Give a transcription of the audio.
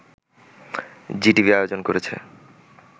Zee TV আয়োজন করেছে